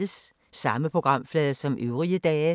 Samme programflade som øvrige dage